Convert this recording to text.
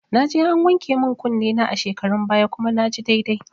Naje an wanke min kunne na a shekarun baya kuma naji daidai